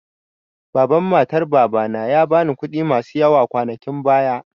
Baban matar Baba na ya ba ni kuɗi masu yawa kwanakin baya.